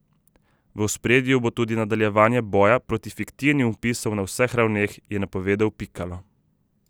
V ospredju bo tudi nadaljevanje boja proti fiktivnim vpisom na vseh ravneh, je napovedal Pikalo.